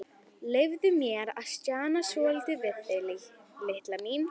Leyfðu mér að stjana svolítið við þig, litla mín.